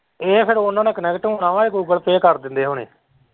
ਉਹ ਫਿਰ ਇਹਨਾਂ ਨਾਲ connect ਹੋਣਾ ਹੈ ਉਹ google pay ਕਰ ਦਿਂਦੇ ਹੇਣੇ।